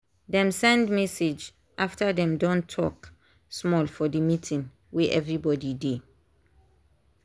dem send message after dem don talk small for the meeting wey everybody dey.